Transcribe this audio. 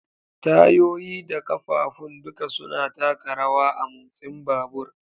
Tayoyi da ƙafafun duka suna taka rawa a motsin babur.